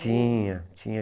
Tinha, tinha.